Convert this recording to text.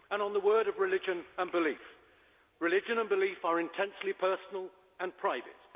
A word on religion and belief religion and belief are intensely personal and private.